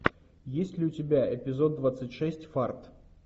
есть ли у тебя эпизод двадцать шесть фарт